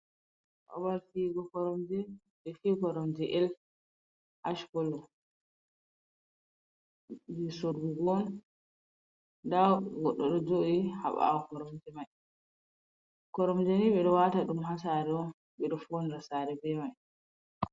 Babal fiyugo koromje, ɓe fiyi koromje el, ash kolo jei sorrugo. Nda goɗɗo ɗo jooɗi ha ɓaawo koromje mai. Koromje ni ɓe ɗo waata ɗum ha sare on. Ɓe ɗo faunira saare be mai.